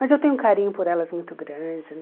Mas eu tenho um carinho por elas muito grande.